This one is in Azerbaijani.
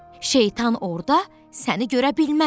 Şeytan orda səni görə bilməz.